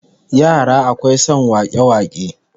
Yara akwai son wake-wake